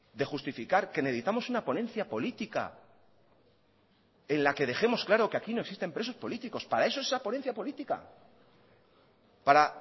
de justificar que necesitamos una ponencia política en la que dejemos claro que aquí no existen presos políticos para eso esa ponencia política para